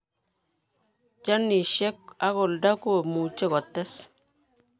Genesiek ak oldo koimuche kotees